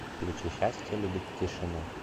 включи счастье любит тишину